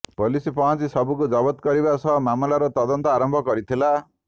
police ପହଞ୍ଚି ଶବକୁ ଜବତ କରିବା ସହ ମାମଲାର ତଦନ୍ତ ଆରମ୍ଭ କରିଥିଲା